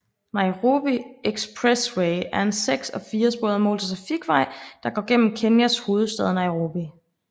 Nairobi Expressway er en seks og fire sporet motortrafikvej der går igennem Kenyas hovedstad Nairobi